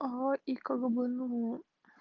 как бы ну